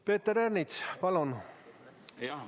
Peeter Ernits, palun!